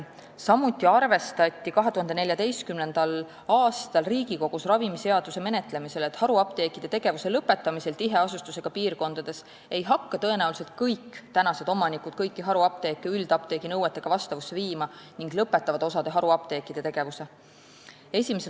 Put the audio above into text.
Samuti arvestati 2014. aastal Riigikogus ravimiseaduse menetlemisel, et haruapteekide tegevuse lõpetamisel tiheasustusega piirkondades ei hakka tõenäoliselt kõik praegused omanikud oma haruapteeke üldapteegi nõuetega vastavusse viima ning osa haruapteekide tegevus lõpetatakse.